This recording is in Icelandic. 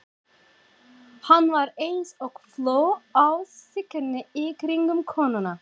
Hann var eins og fló á skinni í kringum konuna.